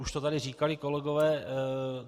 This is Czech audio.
Už to tady říkali kolegové.